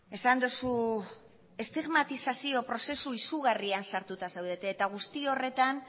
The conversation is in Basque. esan duzu estigmatizazio prozesu izugarrian sartuta zaudete eta guzti horretan